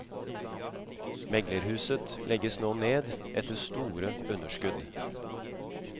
Meglerhuset legges nå ned etter store underskudd.